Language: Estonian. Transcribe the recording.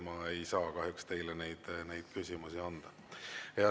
Ma ei saa kahjuks teile neid küsimusi anda.